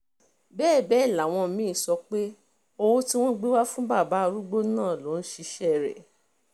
bẹ́ẹ̀ bẹ́ẹ̀ làwọn mí-ín sọ pé owó tí wọ́n gbé wá fún bàbá arúgbó náà ló ń ṣiṣẹ́ rẹ̀